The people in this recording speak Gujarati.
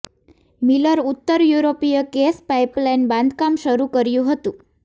મિલર ઉત્તર યુરોપીય ગેસ પાઇપલાઇન બાંધકામ શરૂ કર્યું હતું